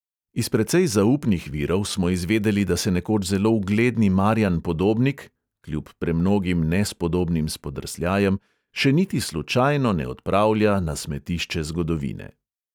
Iz precej zaupnih virov smo izvedeli, da se nekoč zelo ugledni marjan podobnik (kljub premnogim nespodobnim spodrsljajem) še niti slučajno ne odpravlja na smetišče zgodovine.